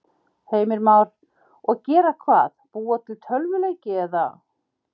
Heimir Már: Og gera hvað, búa til tölvuleiki eða?